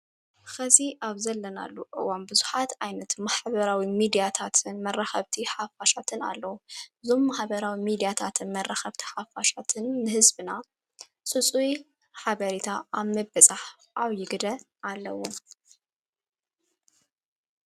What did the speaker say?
ኸዚ ኣብ ዘለናሉ እዋም ብዙኃት ኣይነት መኃበራዊ ሚዲያታትን መረኸብቲ ሓፋሻትን ኣለዉ ዞም መሃበራዊ ሚዲያታትን መራኸብቲ ሓፋሻትን ንሕዝብና ስፁይ ኃበሪታ ኣመበጻሕ ኣብይ ግደ ኣለዉ።